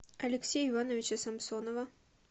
алексея ивановича самсонова